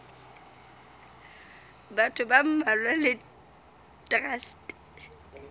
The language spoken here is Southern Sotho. batho ba mmalwa le traste